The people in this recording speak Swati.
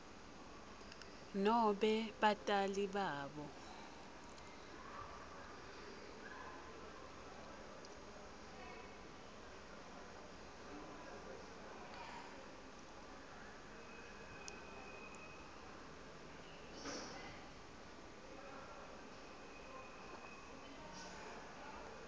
nobe batali babo